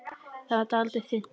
Það varð dálítið þunnt.